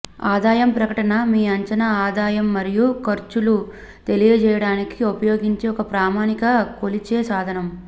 ఆదాయం ప్రకటన మీ అంచనా ఆదాయం మరియు ఖర్చులు తెలియజేయడానికి ఉపయోగించే ఒక ప్రామాణిక కొలిచే సాధనం